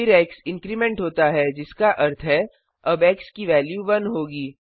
फिर X increment होता है जिसका अर्थ है अब एक्स की वेल्यू 1 होगी